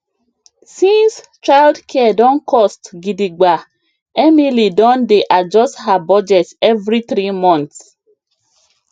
since childcare don cost gidigba emily don dey adjust her budget every three months